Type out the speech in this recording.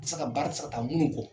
Tɛ se ka baara tɛ se ka taa munnu kɔ.